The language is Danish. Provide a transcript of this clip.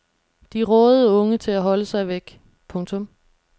De rådede unge til at holde sig væk. punktum